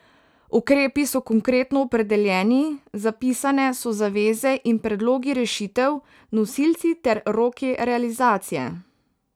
Ukrepi so konkretno opredeljeni, zapisane so zaveze in predlogi rešitev, nosilci ter roki realizacije.